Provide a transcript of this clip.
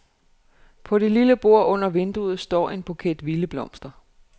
På det lille bord under vinduet står en buket vilde blomster.